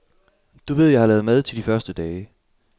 Du ved jeg har lavet mad til de første dage.